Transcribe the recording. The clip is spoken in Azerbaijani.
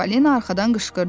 Çippolina arxadan qışqırdı.